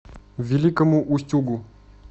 великому устюгу